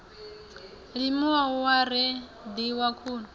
limiwa hu a reḓiwa khuni